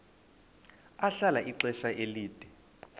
ahlala ixesha elide